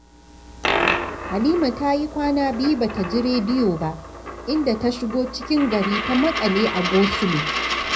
Halima ta yi kwana biyu ba ta ji rediyo ba, inda ta shigo cikin gari ta maƙale a gosulo